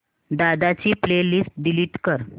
दादा ची playlist delete कर